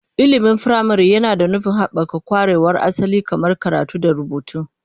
Ilimin firamare yana da nufin haɓaka ƙwarewar asali kamar karatu da rubutu.